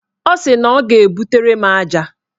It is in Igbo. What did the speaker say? Ọ sị na ọ ga-ebutere m aja.